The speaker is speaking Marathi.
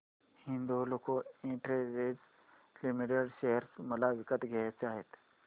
हिंदाल्को इंडस्ट्रीज लिमिटेड शेअर मला विकत घ्यायचे आहेत